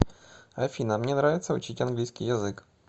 афина мне нравится учить английский язык